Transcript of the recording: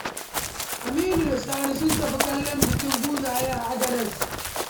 Aminu da Sani sun tafi kallon bikin buzaye a Agadez.